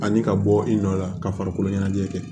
Ani ka bɔ i nɔ la ka farikolo ɲɛnajɛ kɛ